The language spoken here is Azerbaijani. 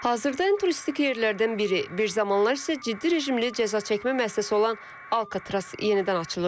Hazırda ən turistik yerlərdən biri, bir zamanlar isə ciddi rejimli cəzaçəkmə müəssisəsi olan Alkatraz yenidən açılır.